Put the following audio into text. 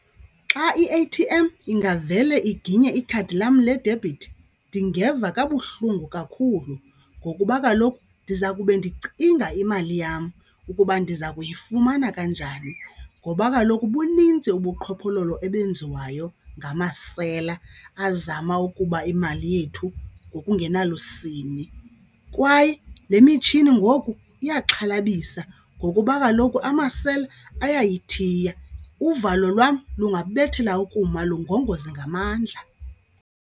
Xa i-A_T_M ingavele iginye ikhadi lam ledebhithi ndingeva kabuhlungu kakhulu ngokuba kaloku ndiza kube ndicinga imali yam ukuba ndiza kuyifumana kanjani. Ngoba kaloku bunintsi ubuqhophololo obenziwayo ngamasela kum azama ukuba imali yethu ngokungenalusini kwaye le mitshini ngoku iyaxhalabisa ngokuba kaloku amasela ayayithiya, uvalo lwam lungabethela ukuma lungongoze ngamandla.